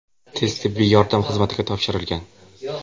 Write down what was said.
tez tibbiy yordam xizmatiga topshirilgan.